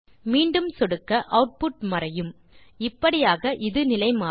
மீண்டும் சொடுக்க ஆட்புட் மறையும் இப்படியாக இது நிலை மாறும்